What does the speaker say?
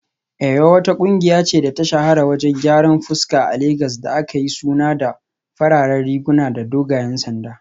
Eyo wata kungiya ce da ta shahara wajen gyaran fuska a Legas da aka yi suna da fararen riguna da dogayen sanda